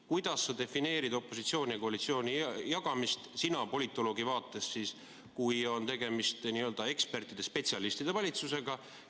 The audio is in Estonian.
Kuidas sa defineerid opositsiooni ja koalitsiooni jagamist – sina politoloogi vaatest –, kui on tegemist n-ö ekspertide-spetsialistide valitsusega?